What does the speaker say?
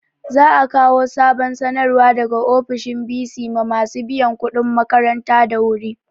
Za a kawo sabon sanarwa daga ofishin bc ma masu biyan kuɗin makaranta da wu ri